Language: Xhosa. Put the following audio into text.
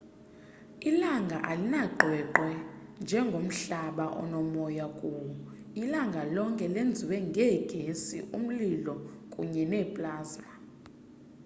ilanga alinaqweqwe njengomhlaba onoma kuwo ilanga lonke lenziwe ngeegesi umlilo kunye neplasma